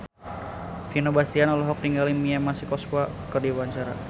Vino Bastian olohok ningali Mia Masikowska keur diwawancara